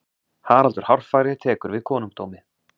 haraldur hárfagri tekur við konungdómi